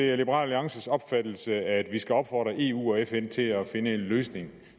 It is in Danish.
er liberal alliances opfattelse at vi skal opfordre eu og fn til at finde en løsning